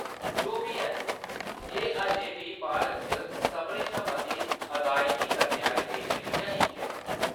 जो बी है, एह्‌‌ अजें बी भारत च सभनें शा मती अदायगी करने आह्‌‌‌ले पेशें बिच्चा इक ऐ।